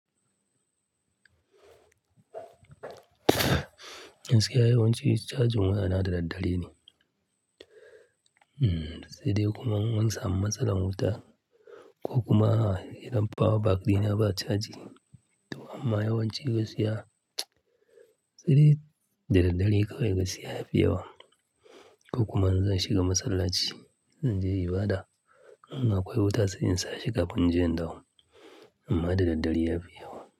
Gaskiya yawancin charging waya na da daddare ne Hmm sai dai kuma in an samu matsalar wuta. Ko kuma idan power bank ɗina ba chaji to amma ya wanci gaskiya sai dai da daddare kawai gaskiya ya fi yawa. Ko kuma in zan shiga masallaci zan je ibada. In akawai wuta sai in sa shi kafin in je indawo. Amma da daddare ya fi yawa.